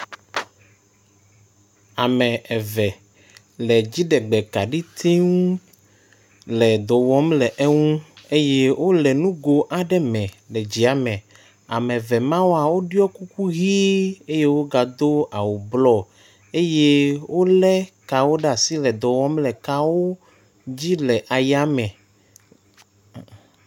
Ame eve le dziɖegbe kaɖitsiŋu le dɔwɔm le eŋu eyɛ wóle nugó aɖe me le dziame, ameve mawoa woɖiɔ kukuɣii eyɛ wó ga dó awu blɔ eyɛ wóle kawo ɖeasi le dɔwɔm le kawo dzi le ayame